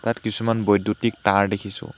ইয়াত কিছুমান বৈদ্যুতিক তাঁৰ দেখিছোঁ।